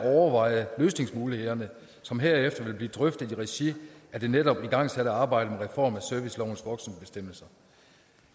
at overveje løsningsmulighederne som herefter vil blive drøftet i regi af det netop igangsatte arbejde med reform af servicelovens voksenbestemmelser